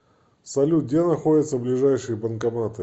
салют где находится ближайшие банкоматы